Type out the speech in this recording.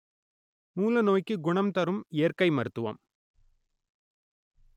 மூல நோய்க்கு குணம் தரும் இயற்கை மருத்துவம்